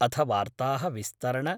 अथ वार्ताः विस्तरण